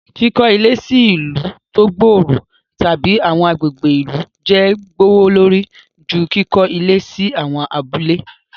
Kiko ile si ilu to gbooro tabi awọn agbegbe ilu jẹ gbowolori ju kikọ ile si awon abule